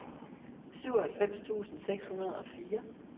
syvoghalvfems tusind seks hundrede og fire